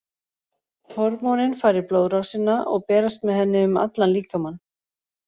Hormónin fara í blóðrásina og berast með henni um allan líkamann.